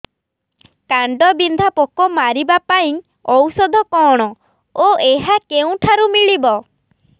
କାଣ୍ଡବିନ୍ଧା ପୋକ ମାରିବା ପାଇଁ ଔଷଧ କଣ ଓ ଏହା କେଉଁଠାରୁ ମିଳିବ